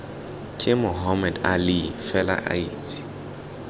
ke mohammed ali fela itse